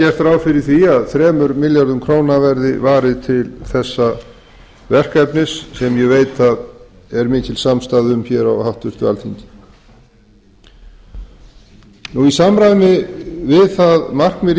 er gert ráð fyrir því að þremur milljörðum króna verði varið til þessa verkefnis sem ég veit að er mikil samstaða um hér á háttvirtu alþingi í samræmi við það markmið